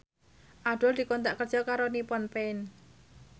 Abdul dikontrak kerja karo Nippon Paint